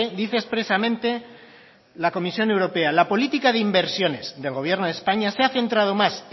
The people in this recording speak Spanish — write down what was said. dice expresamente la comisión europea la política de inversiones del gobierno de españa se ha centrado más